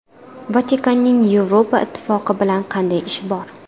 Vatikanning Yevropa Ittifoqi bilan qanday ishi bor?